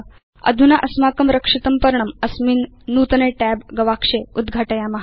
अधुना अस्माकं रक्षितं पर्णम् अस्मिन् नूतने Tab गवाक्षे उद्घाटयाम